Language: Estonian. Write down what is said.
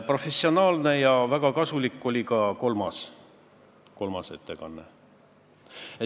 Professionaalne ja väga kasulik oli ka kolmas ettekanne.